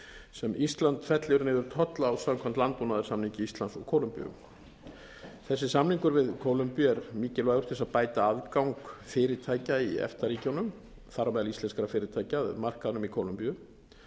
sem ísland fellir niður tolla á samkvæmt landbúnaðarsamningi íslands og kólumbíu þessi samningur við kólumbíu er mikilvægur til þess að bæta aðgang fyrirtækja í efta ríkjunum þar á meðal íslenskra fyrirtækja að markaðnum í kólumbíu